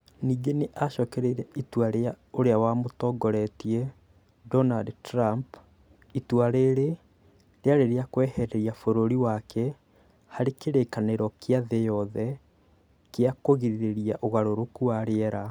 Ningĩ nĩ acokereirie itua rĩa ũrĩa wamũtongoretie, Donald Trump. Itua rĩrĩ rĩarĩ rĩa kweheria bũrũri wake harĩ kĩrĩkanĩro kĩa thĩ yothe gĩa kũgirĩrĩria ũgarũrũku wa rĩera.